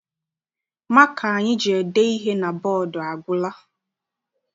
Maka anyị ji ede ihe na bọdu agwụla.